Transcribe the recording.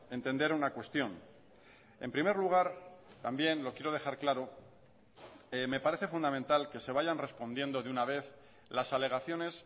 entender una cuestión en primer lugar también lo quiero dejar claro me parece fundamental que se vayan respondiendo de una vez las alegaciones